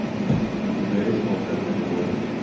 у тебя есть волшебная мелодия